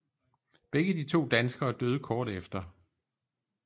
Begge de to danskere døde kort efter